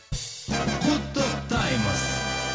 құттықтаймыз